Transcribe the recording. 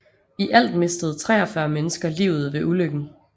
I alt mistede 43 mennesker livet ved ulykken